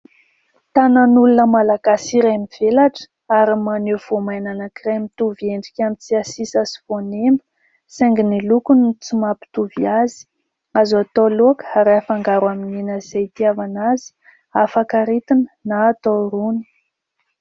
Tanan'olona Malagasy iray mivelatra ary maneho voamaina anankiray ; mitovy endrika amin'ny tsiasisa sy voanemba saingy ny lokony no tsy mampitovy azy, azo atao laoka ary afangaro amin'ny hena izay hitiavana azy afaka ritina na atao rony.